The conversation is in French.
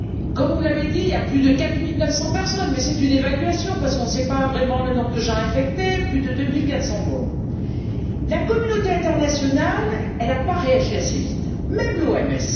Comme vous l'avez dit, il y a plus de quatre mille neuf cents personnes, mais c'est une évaluation car nous ne savons pas vraiment le nombre de gens infectés, et plus de deux mille quatre cents morts. La communauté internationale n'a pas réagi assez vite, même l'OMS.